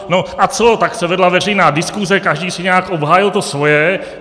No a co, tak se vedla veřejná diskuse, každý si nějak obhájil to svoje.